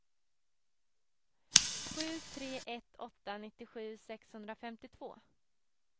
sju tre ett åtta nittiosju sexhundrafemtiotvå